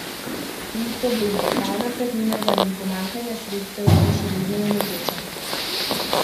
Ni problema, pravna praznina zaradi pomanjkanja sredstev to še vedno omogoča.